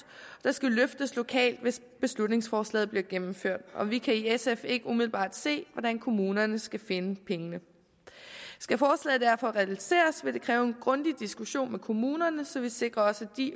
der skal løftes lokalt hvis beslutningsforslaget bliver gennemført og vi kan i sf ikke umiddelbart se hvordan kommunerne skal finde pengene skal forslaget derfor realiseres vil det kræve en grundig diskussion med kommunerne så vi sikrer os at de